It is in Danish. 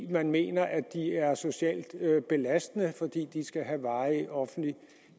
man mener at de er socialt belastende idet de skal have varig offentlig